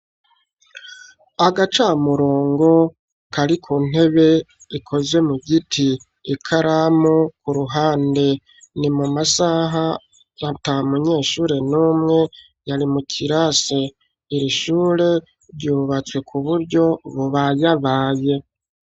Agacamurongo, kari ku ntebe, ikoze mu giti; ikaramu ku ruhande, ni mu masaha, ata munyeshure n'umwe, yari mu kirase; iri shure, ryubatswe ku buryo, bubayabaye.